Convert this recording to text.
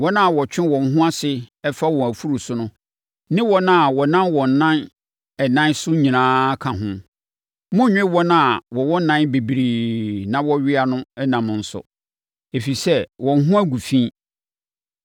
Wɔn a wɔtwe wɔn ho ase fa wɔn afuru so ne wɔn a wɔnam wɔn nan ɛnan so nyinaa ka ho. Monnnwe wɔn a wɔwɔ nan bebree na wɔwea no nam nso, ɛfiri sɛ, wɔn ho agu fi.